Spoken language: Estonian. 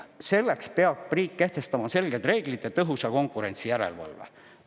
Selleks peab riik kehtestama selged reeglid ja tõhusa konkurentsijärelevalve.